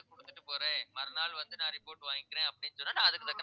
குடுத்துட்டு போறேன் மறுநாள் வந்து நான் report வாங்கிக்கறேன் அப்படின்னு சொன்னா நான் அதுக்கு